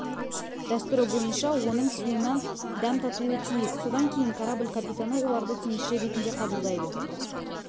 дәстүрі бойынша оның суынан дәм татуы тиіс содан кейін корабль капитаны оларды теңізші ретінде қабылдайды